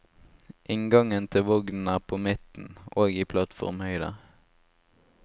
Inngangen til vognen er på midten, og i plattformhøyde.